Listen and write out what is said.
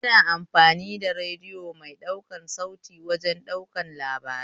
Ana amfani da radiyo mai ɗaukan sauti wajen ɗaukan labara